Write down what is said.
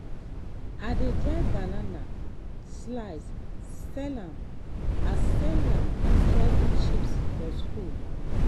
i dey dry banana slice sell am as sell am as healthy chips for school.